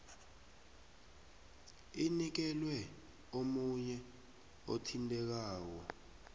inikelwe omunye othintekako